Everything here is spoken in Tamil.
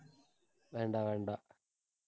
வேண்டாம் வேண்டாம்